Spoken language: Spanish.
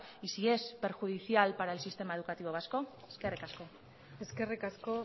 y si es perjudicial para el sistema educativo vasco eskerrik asko eskerrik asko